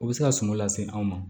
O bɛ se ka suman lase anw ma